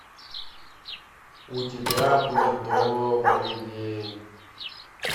у тебя будет добрый день